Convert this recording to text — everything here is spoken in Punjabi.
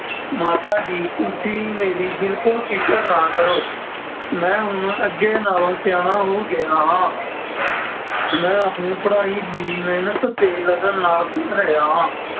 ਮਾਤਾ ਜੀ ਤੁਸੀਂ ਮੇਰੀ ਬਿਲਕੁਲ ਫ਼ਿਕਰ ਨਾ ਕਰੋ ਮੈਂ ਹੁਣ ਅੱਗੇ ਨਾਲੋਂ ਸਿਆਣਾ ਹੋ ਗਇਆ ਹਾਂ ਮੈਂ ਆਪਣੀ ਪੜ੍ਹਾਈ ਵੀ ਮਿਹਨਤ ਅਤੇ ਲਗਨ ਨਾਲ ਕਰ ਰਿਹਾ ਹਾਂ।